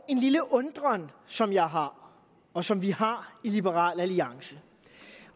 en lille undren som jeg har og som vi har i liberal alliance